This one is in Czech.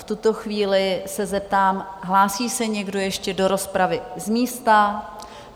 V tuto chvíli se zeptám: hlásí se někdo ještě do rozpravy z místa?